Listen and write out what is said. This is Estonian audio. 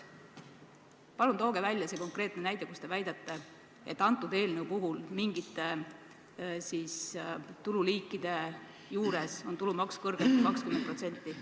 Palun tooge konkreetne näide, mille põhjal te väidate, et antud eelnõu järgi on mingite tululiikide puhul tulumaks kõrgem kui 20%.